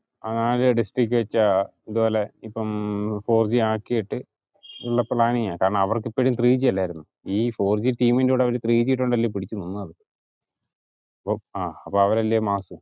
ആകെ ഇതേപോലെ ഇപ്പം ഫൗർ ജി ആക്കീട്ട് ഉള്ള പ്ലാനിങ്ങാ കാരണം അവർക്കിപ്പോഴും ത്രീ ജി അല്ലെരുന്നോ ആകെ ഈ ഫൗർ ജി team ൻ്റെ ഇടയിൽ ത്രീ ജി കൊണ്ടല്ലേ പിടിച്ചു നിന്നത് ആഹ് അപ്പൊ അവരല്ലേ mass